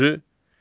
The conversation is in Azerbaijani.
Altıncı.